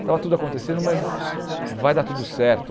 Estava tudo acontecendo, mas vai dar tudo certo.